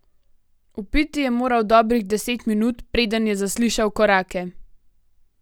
Vpiti je moral dobrih deset minut, preden je zaslišal korake.